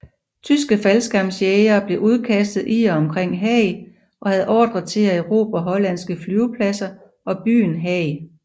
Tyske faldskærmsjægere blev udkastet i og omkring Haag og havde ordre til at erobre hollandske flyvepladser og byen Haag